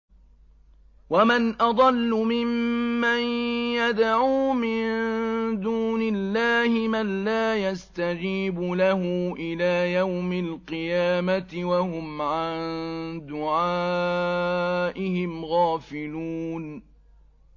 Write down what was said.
وَمَنْ أَضَلُّ مِمَّن يَدْعُو مِن دُونِ اللَّهِ مَن لَّا يَسْتَجِيبُ لَهُ إِلَىٰ يَوْمِ الْقِيَامَةِ وَهُمْ عَن دُعَائِهِمْ غَافِلُونَ